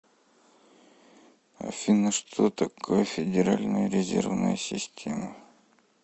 афина что такое федеральная резервная система